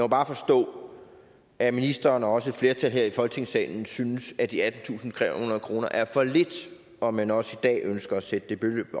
bare forstå at ministeren og også et flertal her i folketingssalen synes at de attentusinde og trehundrede kroner er for lidt og man også i dag ønsker at sætte det beløb